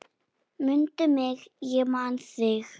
Mundu mig, ég man þig